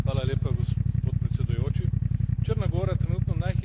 Črna gora trenutno najhitreje vozi proti Evropski uniji.